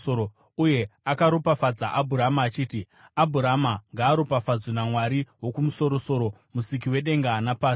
uye akaropafadza Abhurama, achiti, “Abhurama ngaaropafadzwe naMwari Wokumusoro-soro, Musiki wedenga napasi.